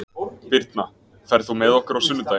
Birna, ferð þú með okkur á sunnudaginn?